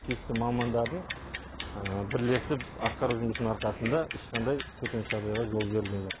тиісті мамандардың бірлесіп атқару жұмыстарының арқасында ешқандай төтенше жағдайға жол берілген жоқ